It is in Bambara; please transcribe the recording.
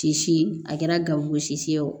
Tisi a kɛra gangosi ye o